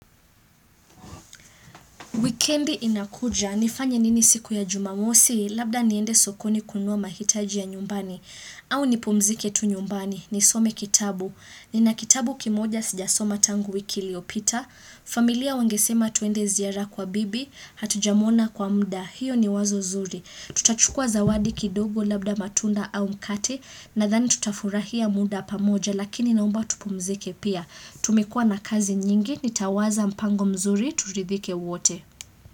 Wikendi inakuja, nifanye nini siku ya jumamosi, labda niende sokoni kunua mahitaji ya nyumbani, au nipumzike tu nyumbani, nisome kitabu, nina kitabu kimoja sijasoma tangu wiki iliopita, familia wangesema tuende ziara kwa bibi, hatujamwona kwa muda, hiyo ni wazo zuri. Tutachukua zawadi kidogo labda matunda au mkate, nadhani tutafurahia muda pamoja, lakini naomba tupumzike pia, tumekua na kazi nyingi, nitawaza mpango mzuri, turidhike wote.